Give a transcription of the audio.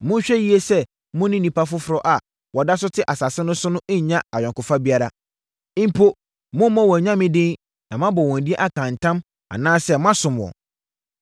Monhwɛ yie sɛ mo ne nnipa foforɔ a wɔda so te asase no so no nnya ayɔnkofa biara. Mpo, mommmɔ wɔn anyame din na moabɔ wɔn din aka ntam anaasɛ moasom wɔn.